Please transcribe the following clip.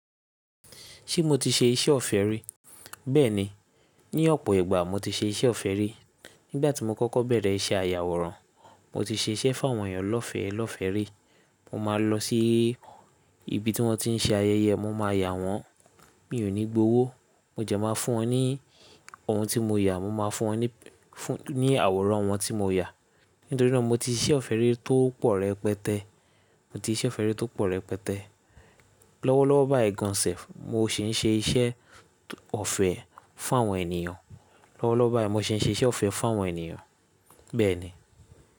Ṣé mo ti ṣe iṣẹ́ ọ̀fẹ́ rí? Bẹ́ẹ̀ni, ní ọ̀pọ̀ ìgbà mo ti ṣe iṣẹ́ ọ̀fẹ́ rí. Nígbà tí mo kọ́kọ́ bẹ̀rẹ̀ iṣẹ́ àyàwòrán, mo ti ṣe iṣẹ́ fún àwọn ènìyàn lọ́fẹ̀ẹ́, lọ́fẹ̀ẹ́ rí. Mo máa lọ sí ibi tí wọ́n ti ń ṣe ayẹyẹ, mo máa yà wọ́n, mi ò ní gbowó. Mo dẹ máa fún wọn ní ohun tí mo yà, mo máa fún wọn ní àwòrán wọn tí mo yà. Nítorí náà mo ti ṣe ọ̀fẹ́ rí tó pọ̀ rẹpẹtẹ. Mo ti ṣe ọ̀fẹ́ rí tó pọ̀ rẹpẹtẹ. Lọ́wọ́lọ́wọ́ báyìí gan an self, mo sì ń ṣe iṣẹ́ ọ̀fẹ́ fún àwọn ènìyàn. Lọ́wọ́lọ́wọ́ báyìí mo sì ń ṣe iṣẹ́ ọ̀fẹ́ fún àwọn ènìyàn, bẹ́ẹ̀ ni.